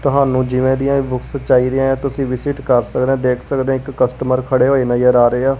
ਤੁਹਾਨੂੰ ਜਿਵੇਂ ਦੀਆਂ ਬੁੱਕਸ ਚਾਹੀਦੀਆਂ ਤੁਸੀਂ ਵਿਜਿਟ ਕਰ ਸਕਦੇ ਹੋ ਦੇਖ ਸਕਦੇ ਹੋ ਇੱਕ ਕਸਟਮਰ ਖੜੇ ਹੋਏ ਨਜ਼ਰ ਆ ਰਹੇ ਆ।